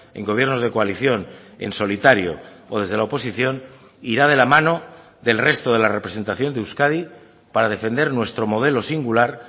en gobiernos de coalición en solitario o desde la oposición irá de la mano del resto de la representación de euskadi para defender nuestro modelo singular